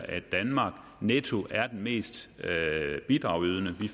at danmark netto er den mest bidragydende vi